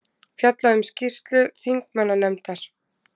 Fjallað um skýrslu þingmannanefndar